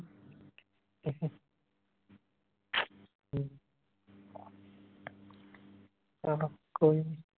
ਹਾਂ ਹਾਂ ਕੋਈ ਨੀ